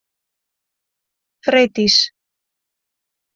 Freydís